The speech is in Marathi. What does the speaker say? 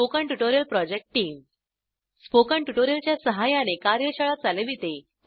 spoken tutorial project team spoken tutorial च्या सहाय्याने कार्यशाळा चालविते